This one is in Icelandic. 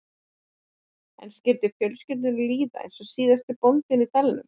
En skyldi fjölskyldunni líða eins og síðasta bóndanum í dalnum?